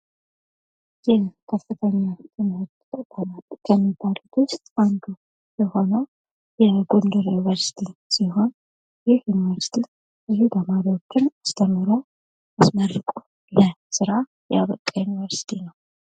የከፍተኛ ትምህርት ተቅቋማት የሚባሉት ውስጥ አንዱ የሆነው የግል ዩኒቨርስቲ ሲሆን ይህ ዩኒቨርስቲ ብዙ ተማሪዎችን አስተምሮ አስመርቆ ለስራ ያበቃ ዩኒቨርስቲ ነው።